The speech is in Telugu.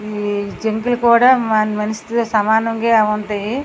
ఈ జింకలు కూడా మనిషి తో సమానంగా ఉంటాయి.